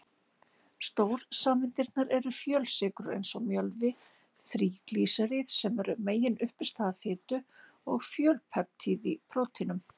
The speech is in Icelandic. Stórsameindirnar eru fjölsykrur eins og mjölvi, þríglýseríð sem eru meginuppistaða fitu, og fjölpeptíð í prótínum.